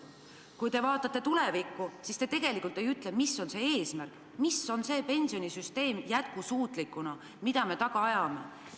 Kui te vaatate tulevikku, siis te tegelikult ei ütle, mis on see eesmärk, milline võiks olla jätkusuutlik pensionisüsteem, mida me taga ajame.